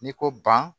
N'i ko ban